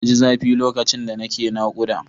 Na ji zafi lokacin da nake naƙuda.